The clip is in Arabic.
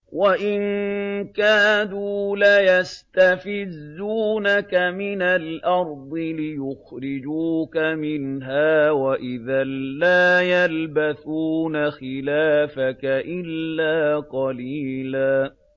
وَإِن كَادُوا لَيَسْتَفِزُّونَكَ مِنَ الْأَرْضِ لِيُخْرِجُوكَ مِنْهَا ۖ وَإِذًا لَّا يَلْبَثُونَ خِلَافَكَ إِلَّا قَلِيلًا